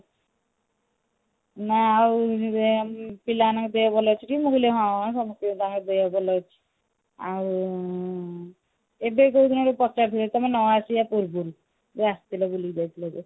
ନା ଆଉ ଇଏ ପିଲାମାନଙ୍କ ଦେହ ଭଲ ଅଛି ଟି ମୁଁ କହିଲି ହଁ ସମସ୍ତିଙ୍କ ତାଙ୍କ ଦେହ ଭଲ ଅଛି ଆଉ ଏବେ କୋଉ ଦିନ ବି ପଚାରୁଥିଲେ ତମେ ନ ଆସିବା ପୂର୍ବାରୁ ଯୋଉ ଆସିଥିଲେ ବୁଲିକି ଯାଇଥିଲେ